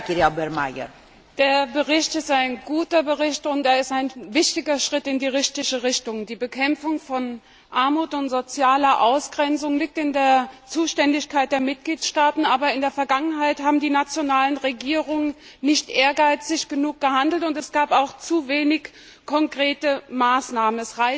Frau Präsidentin! Der Bericht ist ein guter Bericht und er ist ein wichtiger Schritt in die richtige Richtung. Die Bekämpfung von Armut und sozialer Ausgrenzung liegt in der Zuständigkeit der Mitgliedstaaten, aber in der Vergangenheit haben die nationalen Regierungen nicht ehrgeizig genug gehandelt, und es gab auch zu wenig konkrete Maßnahmen.